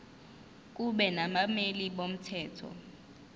kube nabameli bomthetho